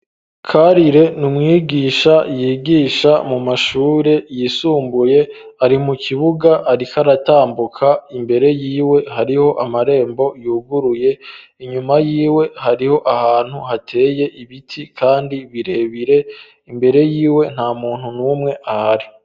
Karire n'umwigisha yigisha mu mashure yisumbuye, ari mu kibuga arikaratambuka imbere y'iwe hariho amarembo yuguruye, inyuma yiwe hariho ahantu hateye ibiti kandi birebire, imbere y'iwe nta muntu n'umwe ahari.